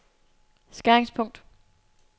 skæringspunkt